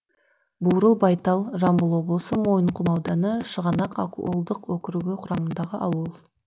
буырылбайтал жамбыл облысы мойынқұм ауданы шығанақ акуылдық округі құрамындағы ауыл